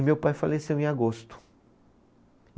E meu pai faleceu em agosto.